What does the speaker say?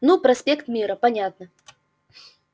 ну проспект мира понятно